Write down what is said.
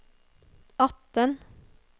atten